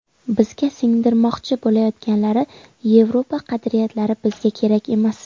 Bizga singdirmoqchi bo‘layotganlari Yevropa qadriyatlari bizga kerak emas.